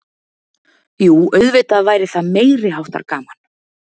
Jú auðvitað væri það meiriháttar gaman.